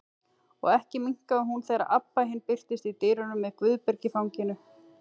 Og ekki minnkaði hún þegar Abba hin birtist í dyrunum með Guðberg í fanginu.